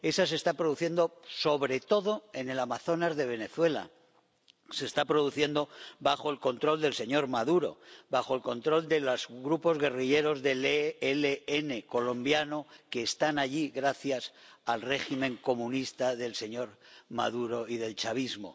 Esa se está produciendo sobre todo en el Amazonas de Venezuela, se está produciendo bajo el control del señor Maduro, bajo el control de los grupos guerrilleros del ELN colombiano, que están allí gracias al régimen comunista del señor Maduro y del chavismo.